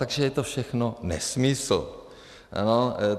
Takže je to všechno nesmysl.